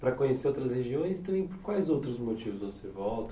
Para conhecer outras regiões, e também por quais outros motivos você volta?